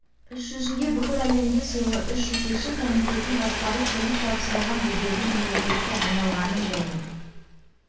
іс жүзінде бүкіл әлемге сыйлы үш жетекші комитетін басқару сеніп тапсырылған беделді мемлекетке айналғанын және